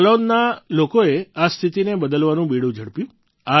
જાલૌનના લોકોએ આ સ્થિતીને બદલવાનું બીડું ઝડપ્યું